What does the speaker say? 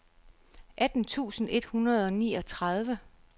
atten tusind et hundrede og niogtredive